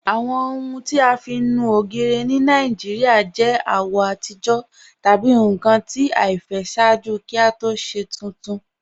Awọn ọhun ti a fi nú ogiri ni Nigeria yọ awọ atijọ tabi nkan ti aifẹ ṣaaju kí o tó ṣe tun kun.